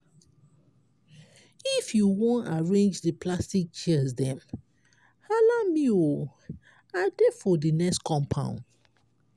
if you wan arrange di plastic chairs dem hala me o! i dey for di next compound.